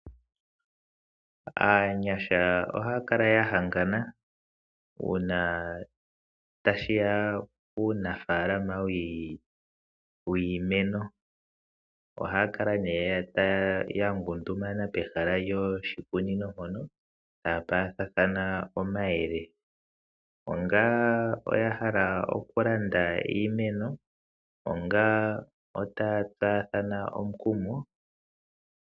Aagundjuka oha ya kala ya hangana uuna tashi ya punafaalama wiimeno. Oha ya kala ya ngundumama pehala lyoshikunino ta ya paathana omayele, uuna ya hala okulanda iimeno nenge ta ya tsaathana omukumo.